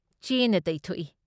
ꯆꯦꯅ ꯇꯩꯊꯣꯛꯏ ꯫